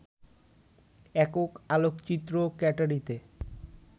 একক আলোকচিত্র ক্যাটারিতে